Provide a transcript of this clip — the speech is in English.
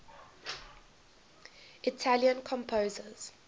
italian composers